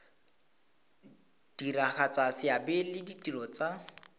diragatsa seabe le ditiro tsa